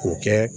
K'o kɛ